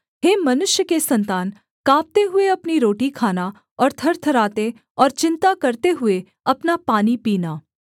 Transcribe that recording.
हे मनुष्य के सन्तान काँपते हुए अपनी रोटी खाना और थरथराते और चिन्ता करते हुए अपना पानी पीना